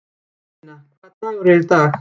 Hermína, hvaða dagur er í dag?